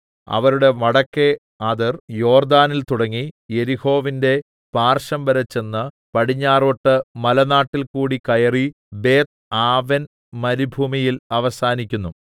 അവരുടെ വടക്കെ അതിർ യോർദ്ദാനിൽ തുടങ്ങി യെരിഹോവിന്റെ പാർശ്വംവരെ ചെന്ന് പടിഞ്ഞാറോട്ട് മലനാട്ടിൽകൂടി കയറി ബേത്ത്ആവെൻ മരുഭൂമിയിൽ അവസാനിക്കുന്നു